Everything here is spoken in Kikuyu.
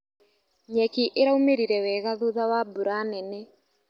Nyeki ĩraumĩrire wega thutha wa mbura nene.